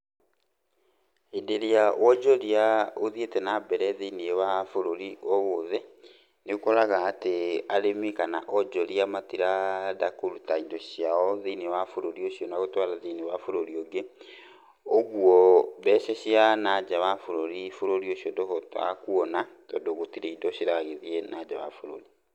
Hĩndĩ ĩrĩa wonjoria ũthiĩte na mbere thĩinĩ wa bũrũri o wothe nĩ ũkoraga atĩ arĩmi kana onjoria matiraenda kũruta indo ciao thĩinĩ wa bũrũri ũcio na gũtwara thĩinĩ wa bũrũri ũngĩ, ũguo mbeca cia na nja wa bũrũrĩ, bũrũri ũcio ndũhotaga kuona tondũ gũtirĩ indo ciragĩthiĩ na nja wa bũrũri.